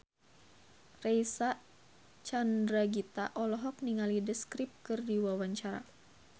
Reysa Chandragitta olohok ningali The Script keur diwawancara